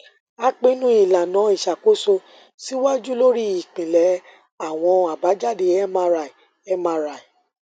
a pinnu ilana iṣakoso siwaju lori ipilẹ awọn abajade mri mri